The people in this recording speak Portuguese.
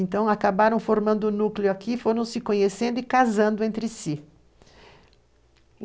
Então, acabaram formando um núcleo aqui, foram se conhecendo e casando entre si.